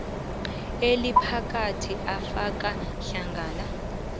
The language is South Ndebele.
eliphakathi afaka hlangana